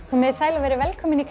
komiði sæl og verið velkomin í